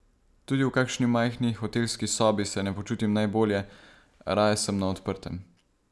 Tudi v kakšni majhni hotelski sobi se ne počutim najbolje, raje sem na odprtem.